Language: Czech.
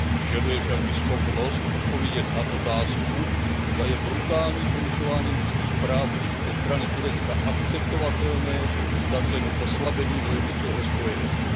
Vyžaduje však i schopnost odpovědět na otázku, zda je brutální porušování lidských práv ze strany Turecka akceptovatelné za cenu oslabení vojenského spojenectví.